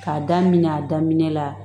K'a daminɛ a daminɛ la